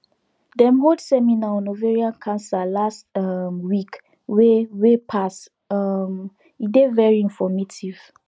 dem hold seminar on ovarian cancer last um week wey wey pass um e dey very informative